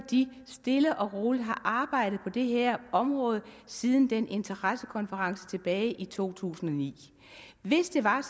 stille og roligt har arbejdet på det her område siden den interessekonference tilbage i to tusind og ni hvis det var